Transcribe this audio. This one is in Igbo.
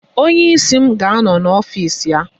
Onye isi m ga-anọ n'ọfịs ya.